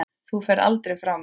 Þú ferð aldrei frá mér.